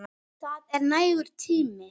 Það er nægur tími.